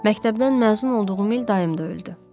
Məktəbdən məzun olduğum il dayım da öldü.